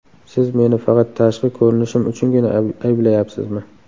Siz meni faqat tashqi ko‘rinishim uchungina ayblayapsizmi?